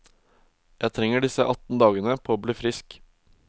Jeg trenger disse atten dagene på å bli frisk.